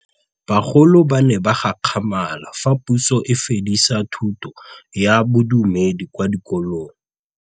Bagolo ba ne ba gakgamala fa Pusô e fedisa thutô ya Bodumedi kwa dikolong.